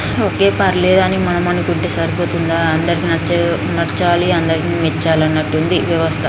ఒకే పర్లె అని మనం అనుకుంటే సరిపోతుందా అందరికీ నచ్చే-నచ్చాలి అందరికీ మెచ్చాలి అన్నటుంది వ్యవస్థ